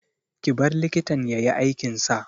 Ki bar likitan ya yi aikin sa!